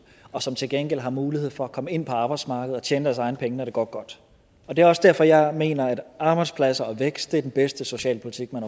og som til gengæld har mulighed for at komme ind på arbejdsmarkedet og tjene deres egne penge når det går godt det er også derfor jeg mener at arbejdspladser og vækst er den bedste socialpolitik man